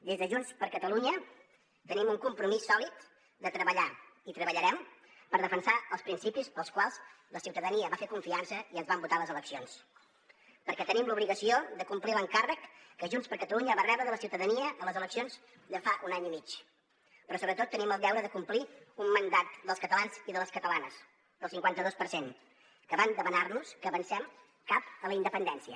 des de junts per catalunya tenim un compromís sòlid de treballar i treballarem per defensar els principis pels quals la ciutadania ens va fer confiança i ens van votar a les eleccions perquè tenim l’obligació de complir l’encàrrec que junts per catalunya va rebre de la ciutadania a les eleccions de fa un any i mig però sobretot tenim el deure de complir un mandat dels catalans i de les catalanes del cinquanta dos per cent que van demanar nos que avancem cap a la independència